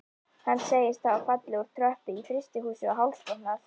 Hann segist hafa fallið úr tröppu í frystihúsi og hálsbrotnað.